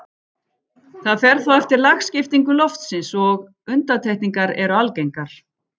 Það fer þó eftir lagskiptingu loftsins og undantekningar eru algengar.